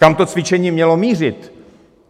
Kam to cvičení mělo mířit?